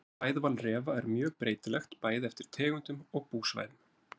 Fæðuval refa er mjög breytilegt bæði eftir tegundum og búsvæðum.